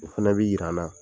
O fɛnɛ bi yir'an na